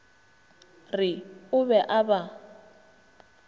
re o be a ba